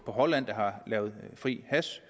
på holland der har fri hash